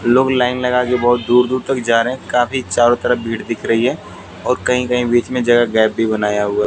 लोग लाइन लगा के बहुत दूर दूर तक जा रहे हैं काफी चारों तरफ भीड़ दिख रही हैं और कही कही बीच में जगह गैप भी बनाया हुआ--